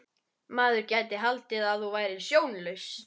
Maður gæti haldið að þú værir sjónlaus!